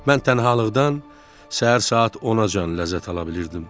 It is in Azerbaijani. Mən tənhalıqdan səhər saat 10-acan ləzzət ala bilirdim.